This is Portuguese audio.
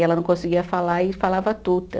E ela não conseguia falar e falava Tuta.